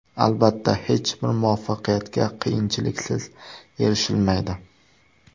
Albatta, hech bir muvaffaqiyatga qiyinchiliksiz erishilmaydi.